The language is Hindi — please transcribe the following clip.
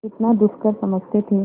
जितना दुष्कर समझते थे